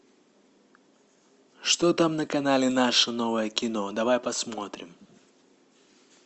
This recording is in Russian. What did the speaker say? что там на канале наше новое кино давай посмотрим